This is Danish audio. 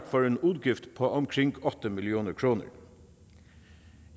for en udgift på omkring otte million kroner